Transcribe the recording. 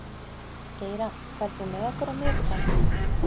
Geira, ferð þú með okkur á miðvikudaginn?